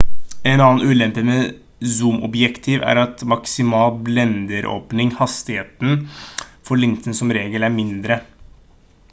en annen ulempe med zoomobjektiv er at maksimal blenderåpning hastigheten for linsen som regel er mindre